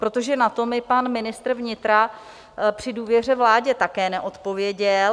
Protože na to mi pan ministr vnitra při důvěře vládě také neodpověděl.